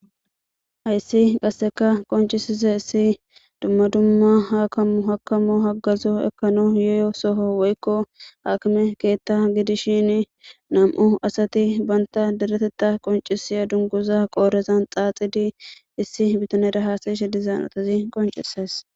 Hayssi qasseka qonccisizayssi dumma dumma hakimo haagazo ekkanawu yiiyo soho woykko hakime keththa giddishin nam'u asati bantta deretteta qonccisiya dunguza qodhdhezan xaaxidi issi biitanera has'she diiza hanotazi qonccises.